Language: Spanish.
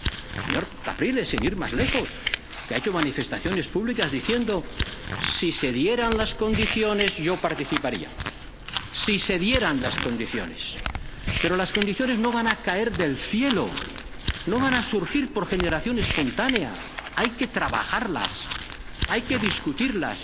el señor Capriles, sin ir más lejos, que ha hecho manifestaciones públicas diciendo si se dieran las condiciones, yo participaría. Si se dieran las condiciones, pero las condiciones no van a caer del cielo, no van a surgir por generación espontánea, hay que trabajarlas, hay que discutirlas.